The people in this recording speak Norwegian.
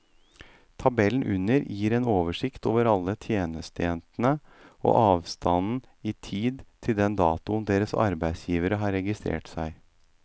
Tabellen under gir en oversikt over alle tjenestejentene og avstanden i tid til den datoen deres arbeidsgivere har registrert seg.